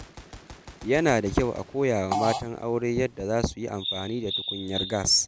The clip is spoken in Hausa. Yana da kyau a koya wa matan aure yadda za su yi amfani da tukunyar gas.